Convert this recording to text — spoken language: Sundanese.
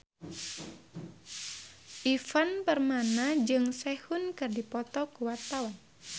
Ivan Permana jeung Sehun keur dipoto ku wartawan